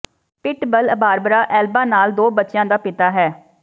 Pitbull Barbara Alba ਨਾਲ ਦੋ ਬੱਚਿਆਂ ਦਾ ਪਿਤਾ ਹੈ